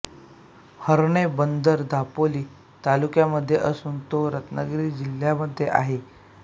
हर्णे बंदर दापोली तालुक्यामधे असून तो रत्नागिरी जिल्ह्यामधे आहे